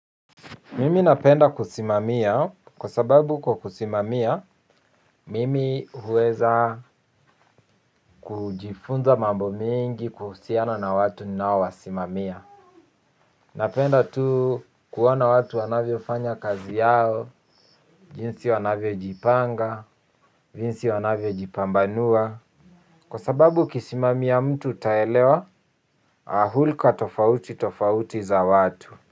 Mimi napenda kusimamia, kwa sababu kwa kusimamia mimi huweza kujifunza mambo mengi kuhusiana na watu ninao wasimamia. Napenda tu kuoana watu wanavyo fanya kazi yao, jinsi wanavyo jipanga, jinsi wanavyo jipambanua. Kwa sababu ukisimamia mtu utaelewa hulka tofauti tofauti za watu.